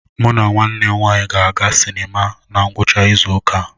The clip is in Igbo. Mụ na nwanne m nwanyị ga-aga sinima na ngwụcha izu ụka a.